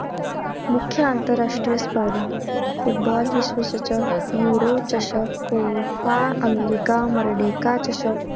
मुख्य आंतरराष्ट्रीय स्पर्धा, फुटबॉल विश्वचषक, न्यूरो चषक, कोफा अमेरीका मर्डीका चषक.